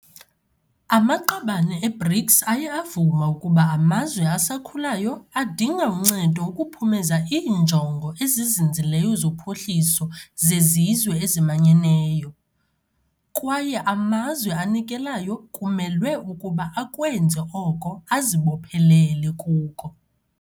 Amaqabane e-BRICS aye avuma ukuba amazwe asakhulayo adinga uncedo ukuphumeza iiNjongo eziZinzileyo zoPhuhliso zeZizwe eziManyeneyo, kwaye amazwe anikelayo kumelwe ukuba akwenze oko azibophelele kuko.